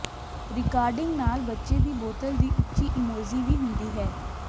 recording ਨਾਲ ਬੱਚੇ ਦੀ ਬੋਤਲ ਦੀ ਉੱਚੀ ਇਮੋਜ਼ੀ ਵੀ ਹੁੰਦੀ ਹੈ